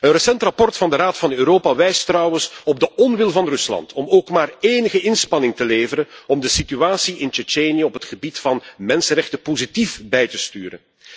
Een recent rapport van de Raad van Europa wijst trouwens op de onwil van Rusland om ook maar enige inspanning te leveren om de situatie in Tsjetsjenië op het gebied van de mensenrechten positief bij te sturen.